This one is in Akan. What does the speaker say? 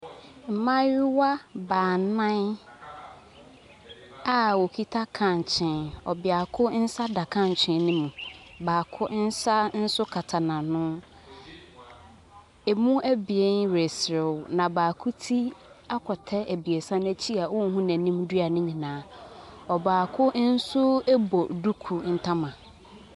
Mmaayewa baanan a wɔkita kankyee. Ɔbeako nsa da kankyee no mu. Baako nso nsa kata n'ano. Emu abien reserew. Na baako ti akɔ tɛ abiesa no akyi a wɔnhu n'anim dua no nyinaa. Ɔbaako nso bɔ duku ntama.